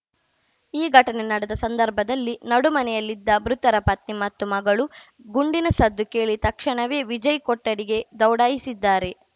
ಈ ಘಟನೆ ನಡೆದ ಸಂದರ್ಭದಲ್ಲಿ ನಡುಮನೆಯಲ್ಲಿದ್ದ ಮೃತರ ಪತ್ನಿ ಮತ್ತು ಮಗಳು ಗುಂಡಿನ ಸದ್ದು ಕೇಳಿ ತಕ್ಷಣವೇ ವಿಜಯ್‌ ಕೊಠಡಿಗೆ ದೌಡಾಯಿಸಿದ್ದಾರೆ